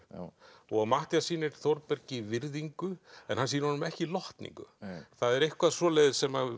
og Matthías sýnir Þórbergi virðingu en hann sýnir honum ekki lotningu það er eitthvað svoleiðis sem